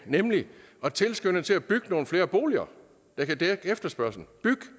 nemlig at tilskynde til at bygget nogle flere boliger der kan dække efterspørgslen byg